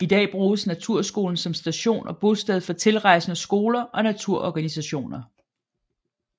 I dag bruges Naturskolen som station og bosted for tilrejsende skoler og naturorganisationer